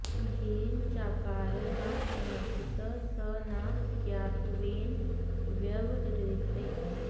येन चाऽऽकारो न समर्पितः स न ज्ञातत्वेन व्यवह्रियते